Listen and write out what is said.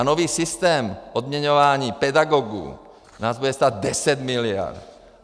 A nový systém odměňování pedagogů nás bude stát 10 miliard.